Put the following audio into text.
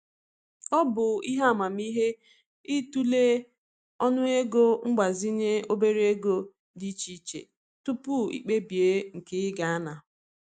Ọ bụ ihe amamihe i tụlee ọnụego mgbazinye obere ego dị iche iche tupu i kpebie nke ị ga ana.